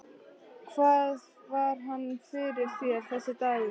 Hvað var hann fyrir þér, þessi dagur.